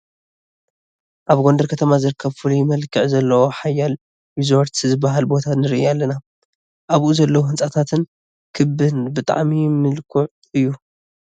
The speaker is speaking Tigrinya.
ኣብ ጐንደር ከተማ ዝርከብ ፍሉይ መልክዕ ዘለዎ ሃይለ ሪዞርት ዝበሃል ቦታ ንርኢ ኣለና፡፡ ኣብኡ ዘለዉ ህንፃታትን ክብን ብጣዕሚ ምልኩዕ እዩ፡፡